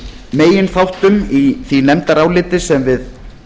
meginþáttum í því nefndaráliti sem við